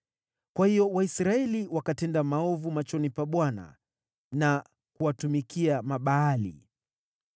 Kwa hiyo Waisraeli wakatenda maovu machoni pa Bwana na kuwatumikia Mabaali.